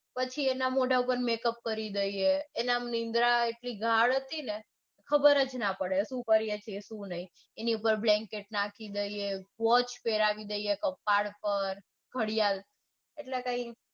પછી એના મોઢા ઉપર મેકઅપ કરી દઈએ એના નિંદ્રા એટલી ગાઢ હતી ને કે ખબર જ ના પડે એના પર બ્લેન્કેટ નાખી દઈએ વોચ પેરાવી દઈએ એના કપાળ પર ઘડિયાળ